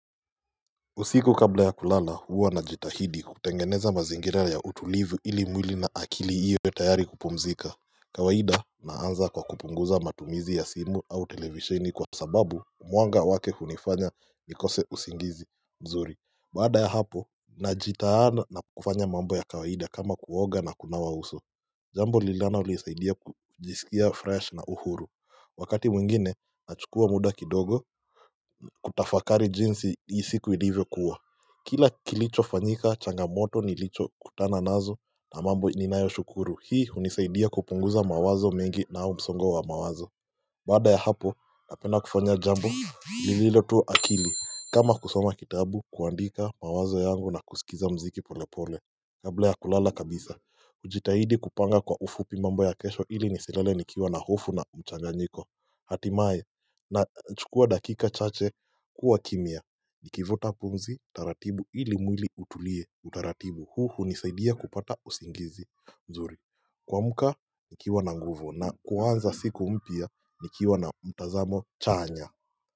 Usiku kabla ya kulala huwa najitahidi kutengeneza mazingira ya utulivu ili mwili na akili iyo tayari kupumzika kawaida naanza kwa kupunguza matumizi ya simu au televisheni kwa sababu mwanga wake hunifanya nikose usingizi mzuri baada ya hapo najitaada na kufanya mambo ya kawaida kama kuoga na kunawa uso Jambo lilanolisaidia kujisikia fresh na uhuru Wakati mwingine, nachukua muda kidogo kutafakari jinsi jinsi hii siku ilivyo kuwa Kila kilichofanyika changamoto nilichokutana nazo na mambo ninayoshukuru Hii hunisaidia kupunguza mawazo mengi na msongo wa mawazo Baada ya hapo, napenda kufanya jambo, lililo tu akili kama kusoma kitabu, kuandika mawazo yangu na kusikiza mziki pole pole Kabla ya kulala kabisa hujitahidi kupanga kwa ufupi mambo ya kesho ili nisilale nikiwa na hofu na mchanganyiko Hatimaye nachukua dakika chache kuwa kimya Nikivuta pumzi taratibu ili mwili utulie utaratibu huu hunisaidia kupata usingizi nzuri kuamka nikiwa na nguvu na kuanza siku mpya nikiwa na mtazamo chanya.